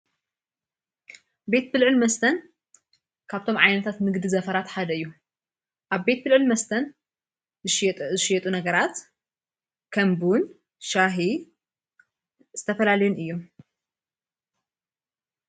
ቤት ብልዑ ል መስተን ካብቶም ዓይነታት ምግዲ ዘፈራት ሓደዩ ኣብ ቤት ብልዑ ል መስተን ዝሸየጡ ነገራት ከምቡን ሻሂ ዝተፈላልዮን እዩም።